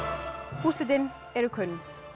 úrslitin eru kunn